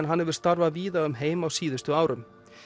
hann hefur starfað víða um heim á síðustu árum